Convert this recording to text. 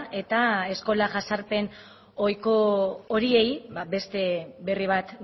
eta eskola jazarpen ohiko horiei beste berri bat